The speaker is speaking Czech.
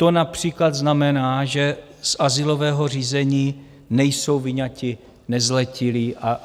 To například znamená, že z azylového řízení nejsou vyňati nezletilí.